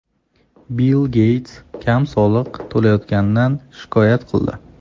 Bill Geyts kam soliq to‘layotganidan shikoyat qildi.